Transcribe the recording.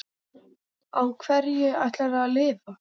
Á hverju ætlarðu að lifa?